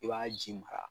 I b'a ji mara